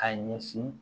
A ɲɛsin